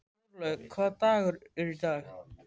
Þorlaug, hvaða dagur er í dag?